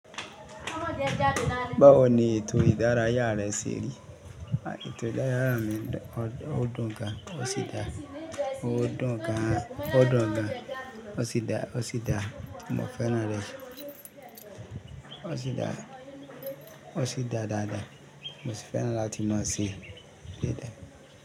Báwo ni ètò ìdárayá rẹ ṣe rí? Àkito ìdárayá mi ó dùn gan, ó sì dá, ó dùn gan-an, ó dùn gan, ó sì dá, ó sì dá, mo fẹ́ràn rẹ̀, ó sì dá, ó sì dá dáadáa, mo sì fẹ́ràn láti máa ṣe dada.